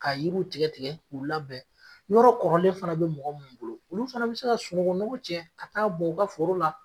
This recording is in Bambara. Ka yiriw tigɛ tigɛ k'u labɛn, yɔrɔ kɔrɔlen fana bɛ mɔgɔ minnu bolo, olu fana bɛ se ka sunungu mugu cɛ ka taa bon u ka foro la